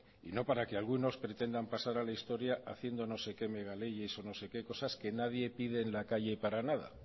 y no para que algunos pretendan pasar a la historia haciendo no sé qué megaleyes o no sé qué cosas que nadie pide en la calle para nada